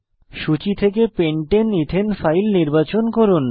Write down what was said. সূচী থেকে pentane এথানে ফাইল নির্বাচন করুন